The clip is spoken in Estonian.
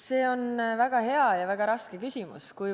See on väga hea ja samas väga raske küsimus.